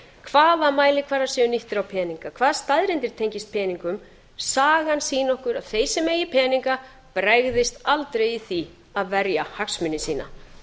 hvaða mælikvarði sé nýttur á peninga hvaða staðreyndir tengist peningum sagan sýni okkur að þeir sem eigi peninga bregðist aldrei í því að verja hagsmuni sína